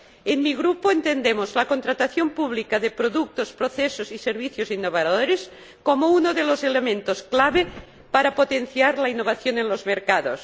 En mi Grupo entendemos la contratación pública de productos, procesos y servicios innovadores como uno de los elementos clave para potenciar la innovación en los mercados.